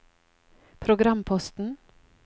programposten